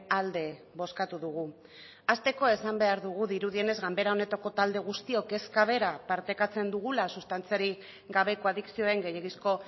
alde bozkatu dugu hasteko esan behar dugu dirudienez ganbera honetako talde guztiok kezka bera partekatzen dugula sustantziarik gabeko adikzioen gehiegizko